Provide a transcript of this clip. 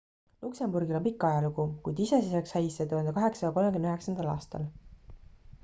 luksemburgil on pikk ajalugu kuid iseseisvaks sai see 1839 aastal